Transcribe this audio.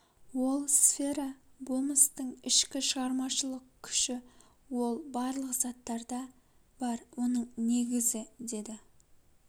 ол сфера-болмыстың ішкі шығармашылық күші ол барлық заттарда бар оның негізі деді